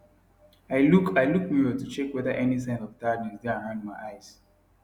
i look i look mirror to check whether any sign of tiredness dae around my eyes